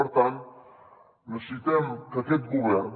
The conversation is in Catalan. per tant necessitem que aquest govern